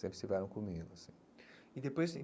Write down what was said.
Sempre estiveram comigo, assim e depois tem.